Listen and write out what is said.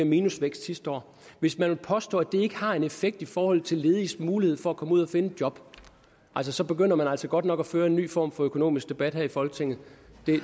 minusvækst sidste år hvis man vil påstå at det ikke har en effekt i forhold til lediges mulighed for at komme ud at finde et job så så begynder man altså godt nok at føre en ny form for økonomisk debat her i folketinget